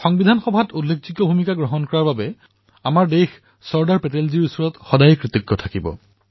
সংবিধান সভাত উল্লেখযোগ্য ভূমিকা পালন কৰাৰ বাবে আমাৰ দেশে চৰ্দাৰ পেটেলৰ প্ৰতি সদায়েই কৃতজ্ঞ হৈ ৰব